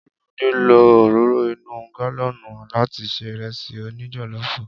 Olumide lo òróró inú gálọ́nùn láti ṣe Ìrẹ́sì òní jọ̀lọ́ọ̀fù.